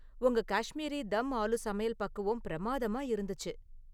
உங்க காஷ்மீரி தம் ஆலு சமையல் பக்குவம் பிரம்மாதமா இருந்துச்சு